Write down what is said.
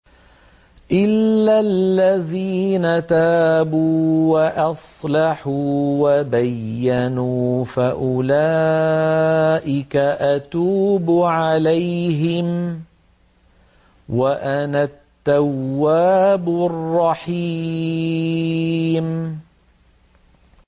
إِلَّا الَّذِينَ تَابُوا وَأَصْلَحُوا وَبَيَّنُوا فَأُولَٰئِكَ أَتُوبُ عَلَيْهِمْ ۚ وَأَنَا التَّوَّابُ الرَّحِيمُ